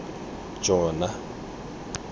jona